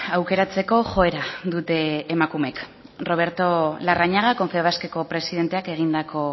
aukeratzeko joera dute emakumeek roberto larrañagak confebaskeko presidenteak egindako